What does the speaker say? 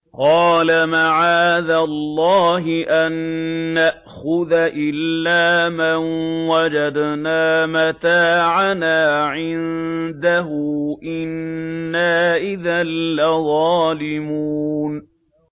قَالَ مَعَاذَ اللَّهِ أَن نَّأْخُذَ إِلَّا مَن وَجَدْنَا مَتَاعَنَا عِندَهُ إِنَّا إِذًا لَّظَالِمُونَ